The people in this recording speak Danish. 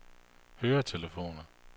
høretelefoner